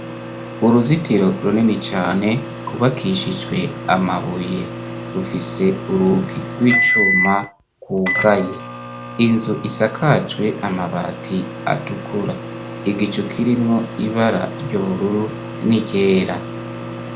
Uruzitiro runini cane rwubakishijwe amabuye, rufise urugi rw'icuma gwugaye inzu isakajwe amabati atukura igicu kirimwo ibara ry'ubururu n'iryera.